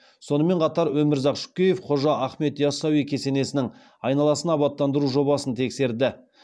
сонымен қатар өмірзақ шөкеев қожа ахмет ясауи кесенесінің айналасын абаттандыру жобасын тексерді